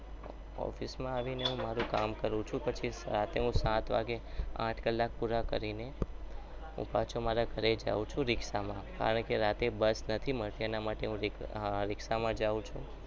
Office માં આવીને હું મારું કામ કરું છું પછી રાતે સાત વાગે આઠ કલાક પૂરા કરીને અને હું પાછો મારા ઘરે જાઉં છું રિક્ષામાં કારણ કે રાતે બસ નથી મળતી એટલે હું રીક્ષામાં જાઉં છું.